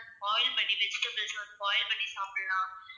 boil பண்ணி vegetables வந்து boil பண்ணி சாப்பிடலாம்.